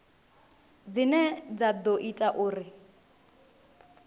dzine dza ḓo ita uri